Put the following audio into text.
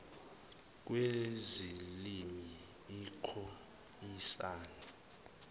kwezilimi ikhoe isan